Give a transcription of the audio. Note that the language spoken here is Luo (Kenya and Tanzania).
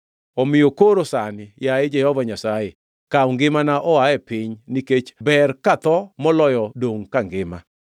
Omiyo koro sani, yaye Jehova Nyasaye, kaw ngimana oa e piny nikech ber katho moloyo dongʼ kangima.”